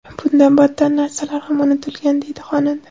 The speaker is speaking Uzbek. Bundan battar narsalar ham unutilgan”, deydi xonanda.